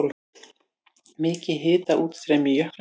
Mikið hitaútstreymi í jöklinum